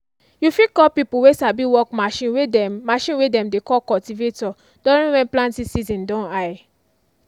you fit call pipo way sabi work machine way dem machine way dem dey call cultivator during when planting season don high.